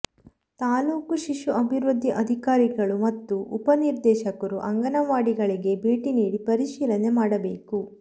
ತಾಲ್ಲೂಕು ಶಿಶು ಅಭಿವೃದ್ಧಿ ಅಧಿಕಾರಿಗಳು ಮತ್ತು ಉಪ ನಿರ್ದೇಶಕರು ಅಂಗನವಾಡಿಗಳಿಗೆ ಭೇಟಿ ನೀಡಿ ಪರಿಶೀಲನೆ ಮಾಡಬೇಕು